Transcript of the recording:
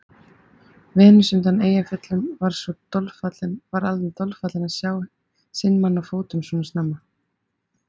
Venus undan Eyjafjöllum varð alveg dolfallin að sjá sinn mann á fótum svona snemma.